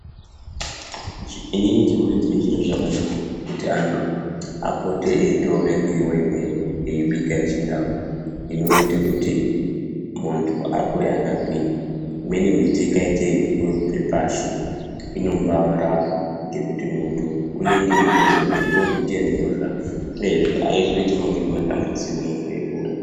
Inini ndinoona chiri chiro chakanaka kuti anhu apote eitora miriwo imweni eibika yechindau inoite kuti muntu akure akagwinya imweni miti ikaite yeiryiwe kubve pashi inombaarapa ngekuti muntu unenge eitoziye kuti ndiyo miti yendinorya uyezve aizoiti mamwe matambudziko munhu eikura .